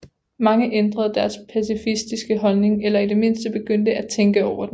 Mange ændrede deres pacifistiske holdning eller i det mindste begyndte at tænke over den